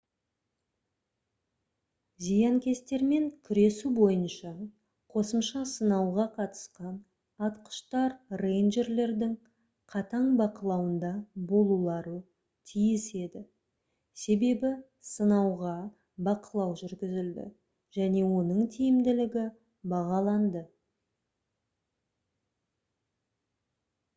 зиянкестермен күресу бойынша қосымша сынауға қатысқан атқыштар рэйнджерлердің қатаң бақылауында болулары тиіс еді себебі сынауға бақылау жүргізілді және оның тиімділігі бағаланды